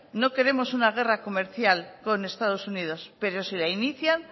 no queremos una guerra comercial con estados unidos pero si la inician